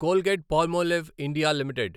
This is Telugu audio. Colgate Palmolive India limited